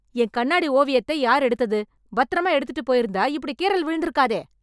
என் கண்ணாடி ஓவியத்தை யார் எடுத்தது? பத்திரமா எடுத்துட்டு போயிருந்தா, இப்டி கீறல் விழுந்துருக்காதே...